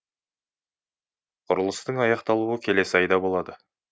құрылыстың аяқталуы келесі айда болады